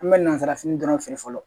An bɛ nazarafini dɔrɔn feere fɔlɔ